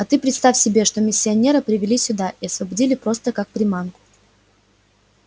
а ты представь себе что миссионера привели сюда и освободили просто как приманку